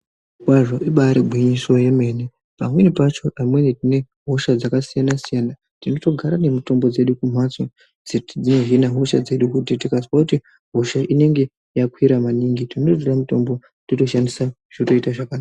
Ibaari gwinyiso remene, pamweni pacho amweni tine hosha dzakasiyana-siyana. Tinotogara nemitombo dzedu kumhatso, dzinohina hosha dzedu kuti kuti tikazwe kuti hosha inenge yakwira maningi tinototora mitombo totoshandisa zvotoita zvakanaka.